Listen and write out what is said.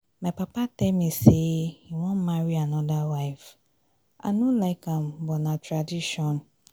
my papa tell me say he wan marry another wife. i no like am but na tradition